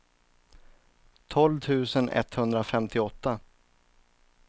tolv tusen etthundrafemtioåtta